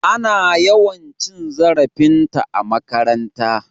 Ana yawan cin zarafinta a makaranta.